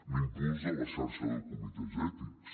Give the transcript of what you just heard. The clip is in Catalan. l’impuls de la xarxa de comitès ètics